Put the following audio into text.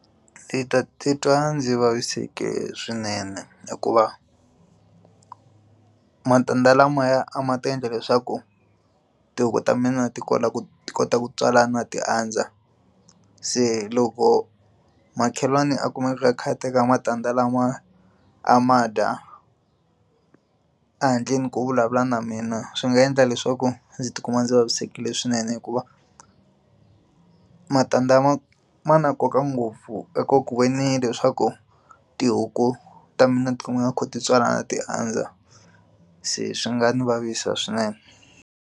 Titwa ndzi vavisekile swinene hikuva matende lamaya a ma ta endla leswaku tihuku ta mina ti kota ku ti kota ku tswalana ti andza se loko makhelwani a kumeka a kha a teka matandza lama a ma dya ehandleni ku vulavula na mina swi nga endla leswaku ndzi tikuma ndzi vavisekile swinene hikuva matandza ma ma na nkoka ngopfu eka ku ve ni leswaku tihuku ta mina tikumana ti kha ti tswalana ti andza se swi nga ndzi vavisa swinene.